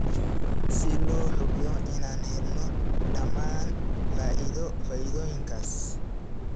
si loo hubiyo inaan helno dhammaan faa'iidooyinkaas.